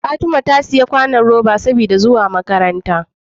Fatima ta siya sabon kwanon roba saboda zuwa makaranta